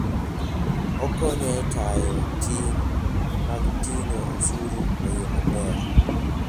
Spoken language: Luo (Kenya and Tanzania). Okonyo e tayo ting' mag ting'o osuru e yo maber.